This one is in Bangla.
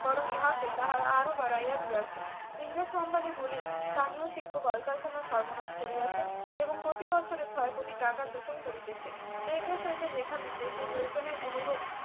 বরং ইহাকে তাহারা আরো বাড়াইয়া দিয়াছে ইংরেজ company গুলি স্থানীয় শিল্প কলকারখানার সর্বনাশ করিয়াছে এবং প্রতিবছরে ছয় কোটি টাকা শোষণ করিতেছে এ দেশ হইতে যেখানে দেশের প্রয়োজনে অনুরূপ